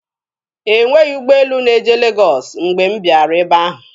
E nweghi ụgbọelu na-eje Legọs mgbe m bịara ebe ahụ.